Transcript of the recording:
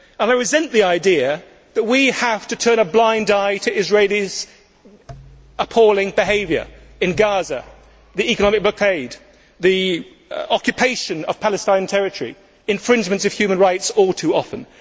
I resent the idea that we have to turn a blind eye to Israel's appalling behaviour in Gaza, the economic blockade, the occupation of Palestinian territory and infringements of human rights all too often.